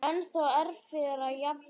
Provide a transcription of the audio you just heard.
Ennþá erfiðara jafnvel?